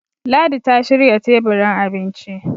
ladi ta shirya teburin abinci